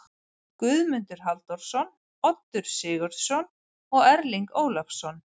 Guðmundur Halldórsson, Oddur Sigurðsson og Erling Ólafsson.